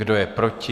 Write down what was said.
Kdo je proti?